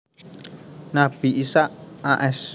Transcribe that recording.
Nabi Ishaq a s